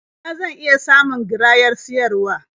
A ina zan iya samun garayar siyarwa?